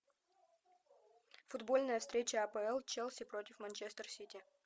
футбольная встреча апл челси против манчестер сити